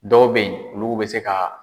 Dɔw bɛ yen olugu bɛ se ka